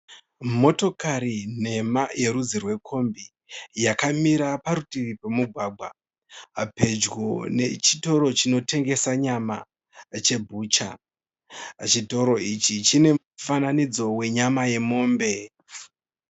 Motokari nhema yerudzi rwekombi yakamira parutivi pomugwagwa pedyo nechitoro chinotengesa nyama chebucha. Chitoro ichi chine mufananidzo wenyama yemombe.